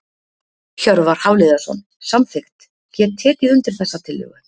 Hjörvar Hafliðason- Samþykkt Get tekið undir þessa tillögu.